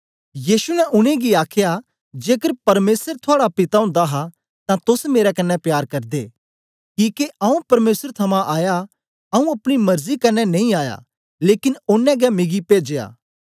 यीशु ने उनेंगी आखया जेकर परमेसर थुआड़ा पिता ओंदा हा तां तोस मेरे कन्ने प्यार करदे किके आऊँ परमेसर थमां आया आऊँ अपनी मरजी कन्ने नेई आया लेकन ओनें गै मिगी पेजया